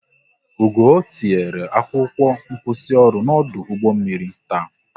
Ugoo tinyere akwụkwọ nkwụsịoru n'ọdụ ụgbọ mmiri taa